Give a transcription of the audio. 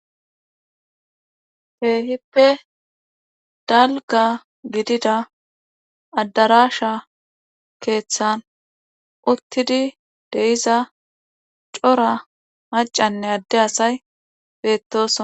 Keehippe dalgga gidida addaraasha keethan uttid de7iza cora maccanne adde asay beettooso.